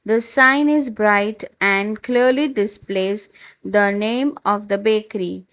the sign is bright and clearly displays the name of the bakery.